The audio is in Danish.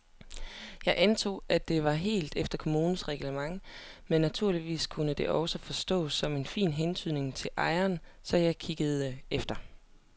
Jeg antog, at det var helt efter kommunens reglement men naturligvis kunne det også forstås som en fin hentydning til ejeren, så jeg kiggede efter.